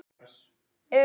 Haltu dagbók.